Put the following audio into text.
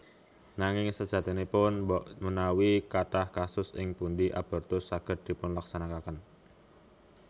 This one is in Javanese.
Nanging sajatinipun mbokmenawi kathah kasus ing pundi abortus saged dipunlaksanakaken